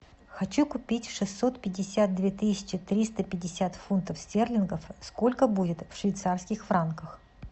хочу купить шестьсот пятьдесят две тысячи триста пятьдесят фунтов стерлингов сколько будет в швейцарских франках